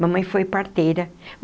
Mamãe foi parteira.